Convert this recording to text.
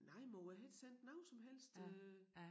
Nej mor jeg har ikke sendt noget som helst øh